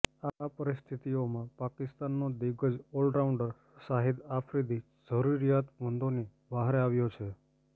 આ પરિસ્થિતિઓમાં પાકિસ્તાનનો દિગ્ગજ ઓલરાઉન્ડર શાહિદ આફ્રિદી જરિરૂયાતમંદોની વ્હારે આવ્યો છે